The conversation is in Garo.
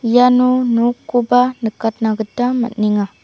iano nokkoba nikatna gita man·enga.